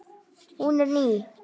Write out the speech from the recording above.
Hún er ný.